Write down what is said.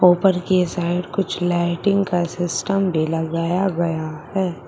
ऊपर के साइड कुछ लाइटिंग का सिस्टम भी लगाया गया है।